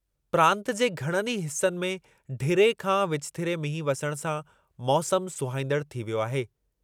प्रांतु जे घणनि ई हिसनि में ढिरे खां विचथिरे मींहुं वसण सां मौसमु सुहाईंदड़ु थी वियो आहे।